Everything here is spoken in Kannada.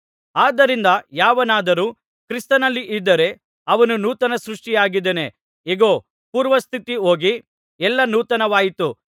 ಆದ್ದರಿಂದ ಯಾವನಾದರೂ ಕ್ರಿಸ್ತನಲ್ಲಿದ್ದರೆ ಅವನು ನೂತನ ಸೃಷ್ಟಿಯಾಗಿದ್ದಾನೆ ಇಗೋ ಪೂರ್ವಸ್ಥಿತಿ ಹೋಗಿ ಎಲ್ಲಾ ನೂತನವಾಯಿತು